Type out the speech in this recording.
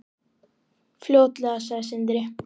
Sindri: Fljótlega?